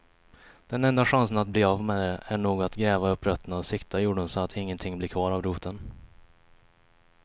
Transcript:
Den enda chansen att bli av med det är nog att gräva upp rötterna och sikta jorden så att ingenting blir kvar av roten.